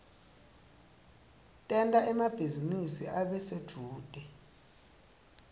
tenta emabhizinisi abe sedvute